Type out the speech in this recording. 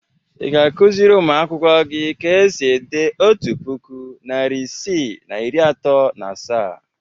Ị ga-akụziri ụmụakwụkwọ gị ka e si ede otu puku, narị isii na iri atọ na asaa?